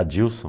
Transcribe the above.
Adilson?